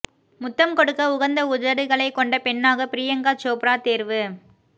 முத்தம் கொடுக்க உகந்த உதடுகளை கொண்ட பெண்ணாக பிரியங்கா சோப்ரா தேர்வு